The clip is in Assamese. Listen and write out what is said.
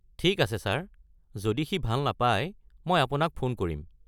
ঠিক আছে ছাৰ, যদি সি ভাল নাপাই, মই আপোনাক ফোন কৰিম।